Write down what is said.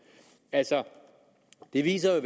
altså det viser jo